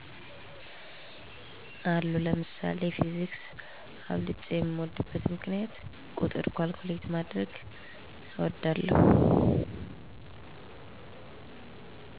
አሉ ለምሳሌ ፊዚክስ አብልጨ የምድበት ምክንያት ቁጥር ካልኩሌት ማድረግ እወዳለሁ